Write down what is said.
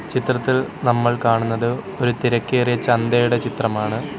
ചിത്രത്തിൽ നമ്മൾ കാണുന്നത് ഒരു തിരക്കേറിയ ചന്തയുടെ ചിത്രമാണ്.